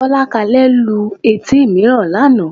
Bọ́lákalẹ́ lu etí mìíràn lánàá